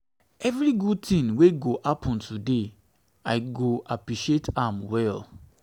evri gud tin wey go happen today i go appreciate am well.